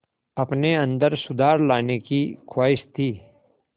अपने अंदर सुधार लाने की ख़्वाहिश थी